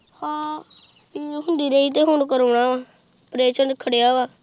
ਹਾਂ ਪੀੜ ਹੁੰਦੀ ਏ ਤੇ ਹੁਣ ਕਰਵਾਉਣਾ ਏ ਓਪਰੇਸ਼ਨ ਖੜਿਆ ਵਾ।